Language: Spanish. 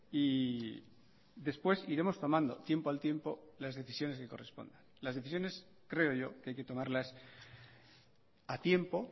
y después iremos tomando tiempo al tiempo las decisiones que correspondan las decisiones creo yo que hay que tomarlas a tiempo